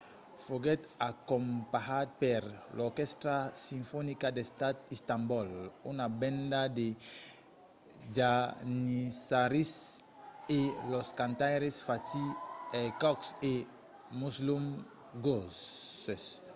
foguèt acompanhat per l'orquèstra sinfonica d'estat d'istanbol una benda de janissaris e los cantaires fatih erkoç e müslüm gürses